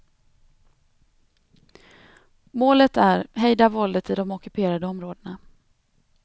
Målet är hejda våldet i de ockuperade områdena.